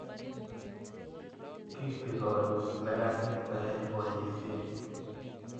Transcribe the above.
Kitigoni meranik koyai poisyet